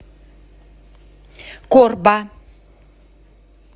корба